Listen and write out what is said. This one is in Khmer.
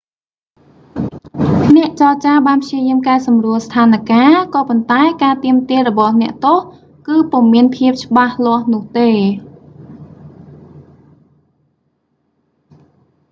អ្នកចរចាបានព្យាយាមកែសម្រួលស្ថានការណ៍ ក៏ប៉ុន្តែការទាមទាររបស់អ្នកទោស គឺពុំមានភាពច្បាស់លាស់នោះទេ